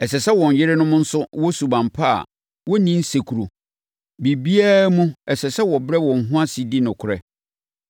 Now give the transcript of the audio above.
Ɛsɛ sɛ wɔn yerenom nso wɔ suban pa a wɔnni nsekuro. Biribiara mu ɛsɛ sɛ wɔbrɛ wɔn ho ase di nokorɛ.